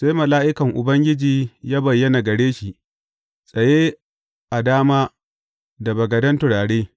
Sai mala’ikan Ubangiji ya bayyana gare shi, tsaye a dama da bagaden turare.